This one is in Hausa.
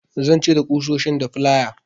Zan cire ƙusoshin da flaya.